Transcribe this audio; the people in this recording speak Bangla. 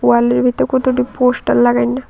ওয়ালের ভিতর কতটি পোস্টার লাগাইন।